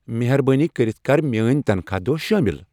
مہربٲنی کٔرِتھ کر میٲنۍ تنخاہ دۄہ شٲمِل ۔